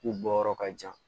K'u bɔ yɔrɔ ka jan